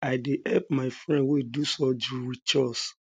i dey help my friend wey do surgery wit chores